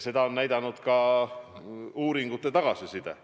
Seda on näidanud ka uuringutel saadud tagasiside.